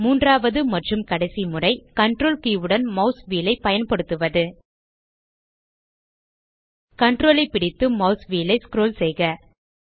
மூன்றாவது மற்றும் கடைசி முறை CTRL கே உடன் மாஸ் வீல் ஐ பயன்படுத்துவது CTRL ஐ பிடித்து மாஸ் வீல் ஐ ஸ்க்ரோல் செய்க